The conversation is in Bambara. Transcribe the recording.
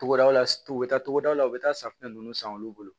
Togodaw la u bɛ taa togodaw la u bɛ taa safunɛ ninnu san olu bolo